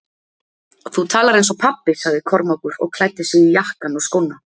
Þú talar eins og pabbi, sagði Kormákur og klæddi sig í jakkann og skóna.